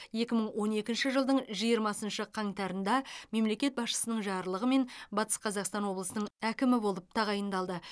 екі мың он екінші жылдың жиырмасыншы қаңтарында мемлекет басшысының жарлығымен батыс қазақстан облысының әкімі болып тағайындалды